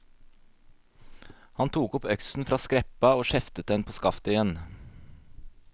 Han tok opp øksen av skreppa og skjeftet den på skaftet igjen.